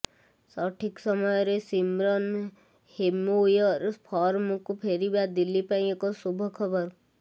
ସଠିକ୍ ସମୟରେ Shimron Hetmyer ଫର୍ମକୁ ଫେରିବା ଦିଲ୍ଲୀ ପାଇଁ ଏକ ଶୁଭଖବର